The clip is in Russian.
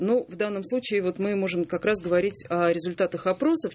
но в данном случае вот мы можем как раз говорить о результатах опросов